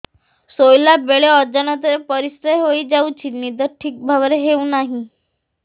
ଶୋଇଲା ବେଳେ ଅଜାଣତରେ ପରିସ୍ରା ହୋଇଯାଉଛି ନିଦ ଠିକ ଭାବରେ ହେଉ ନାହିଁ